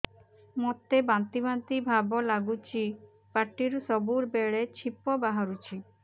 ମୋତେ ବାନ୍ତି ବାନ୍ତି ଭାବ ଲାଗୁଚି ପାଟିରୁ ସବୁ ବେଳେ ଛିପ ବାହାରୁଛି